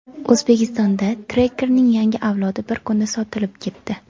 O‘zbekistonda Tracker’ning yangi avlodi bir kunda sotilib ketdi.